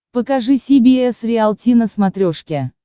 покажи си би эс риалти на смотрешке